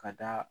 Ka da